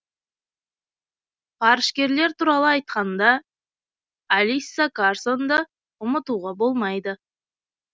ғарышкерлер туралы айтқанда алисса карсонды ұмытуға болмайды